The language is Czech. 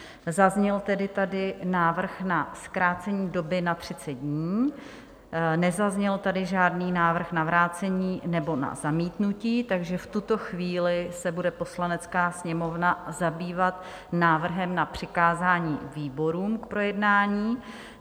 Zazněl tedy tady návrh na zkrácení doby na 30 dní, nezazněl tady žádný návrh na vrácení nebo na zamítnutí, takže v tuto chvíli se bude Poslanecká sněmovna zabývat návrhem na přikázání výborům k projednání.